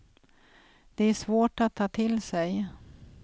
Det är svårt att ta till sig.